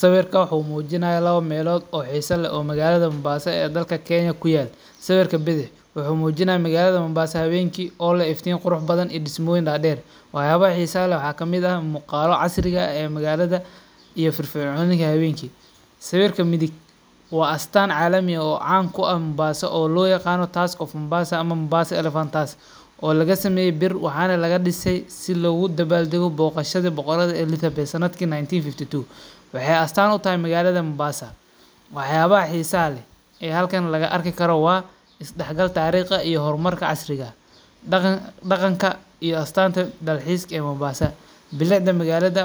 Sawirka wuxu mujinaya lawa melod oo xisa leh oo magalada mombassa ee dalka kenya kuyalo, sawirka bixid wuxu mujinaya magalada mombassa hawenki o leh ifti qurux badan iyo dismoyin dader, wax yabaxa xiisaha leh waxa kamid ah muqaalo casri ah ee magalada iyo firfirconideda hawenki, sawirka midig wa astaan calami ah oo caan kuah mombassa oo loyagano task of mombassa ama mombassa elephant task, oo lagasameye biir waxana lagadisay si logudabaldago boqashada boqorada Elizabeth, sanadki 1952 waxay astaan utaxay magalada mombassa, waxyaba xiisa leh, aya xalkan lagaarkikaro wa isdacgal tarigh ah iyo hormarka casriga, daqanka iyo astaanta dalxiska ee magalada mombassa, bilicda magalada